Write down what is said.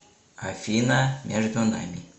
афина между нами